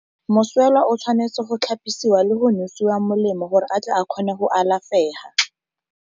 Moswelwa o tshwanetse go tlhapisiwa le go nosiwa molemo, gore a tle a kgone go alafega.